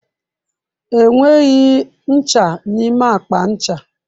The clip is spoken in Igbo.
Enweghị ncha n'ime akpa ncha.